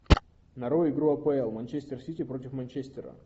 нарой игру апл манчестер сити против манчестера